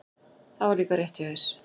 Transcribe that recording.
Það var líka rétt hjá þér.